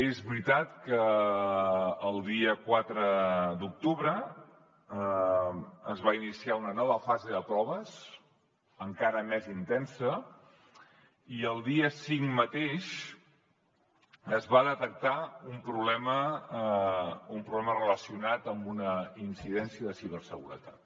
és veritat que el dia quatre d’octubre es va iniciar una nova fase de proves encara més intensa i el dia cinc mateix es va detectar un problema relacionat amb una incidència de ciberseguretat